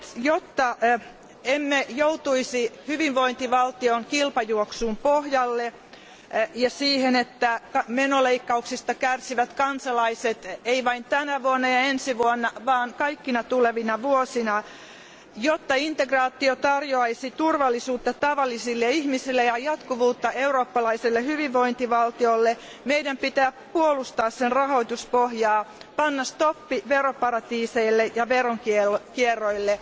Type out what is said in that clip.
Jotta emme joutuisi hyvinvointivaltion kilpajuoksun pohjalle ja siihen, että menoleikkauksista kärsivät kansalaiset, ei vain tänä ja ensi vuonna vaan kaikkina tulevina vuosina, jotta integraatio tarjoaisi turvallisuutta tavallisille ihmisille ja jatkuvuutta eurooppalaiselle hyvinvointivaltiolle, meidän pitää puolustaa sen rahoituspohjaa, panna stoppi veroparatiiseille ja veronkierrolle